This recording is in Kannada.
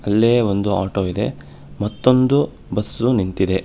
ಇಲ್ಲೀ ಒಂದು ಆಟೋ ಇದೆ ಮತ್ತೊಂದು ಬಸ್ಸು ನಿಂತಿದೆ.